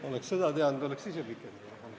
Istungi lõpp kell 12.59.